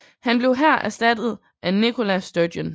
Han blev her erstattet af Nicola Sturgeon